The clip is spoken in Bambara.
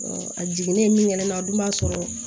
a jiginnen min kɛra n na o dun b'a sɔrɔ